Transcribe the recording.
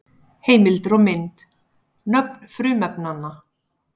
Heimildir og mynd: Nöfn frumefnanna.